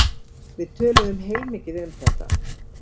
Við töluðum heilmikið um þetta.